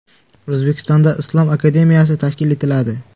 O‘zbekistonda Islom akademiyasi tashkil etiladi.